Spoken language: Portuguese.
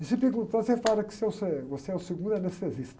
E se perguntar, você fala que o senhor é, você é o segundo anestesista.